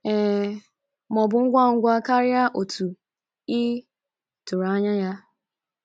Ee, maọbụ ngwa ngwa karịa otú ị tụrụ anya ya.